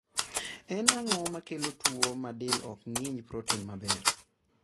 En ang'o makelo tuo ma del ok ng'inj proten maber ?